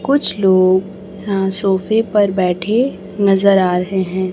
कुछ लोग यहां सोफे पर बैठे नजर आ रहे है।